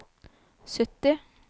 sytti